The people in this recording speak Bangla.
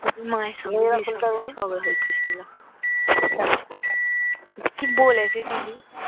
মায়ের সঙ্গে ঝগড়া হয়েছে শুনলাম হু কি বলেছে দিদি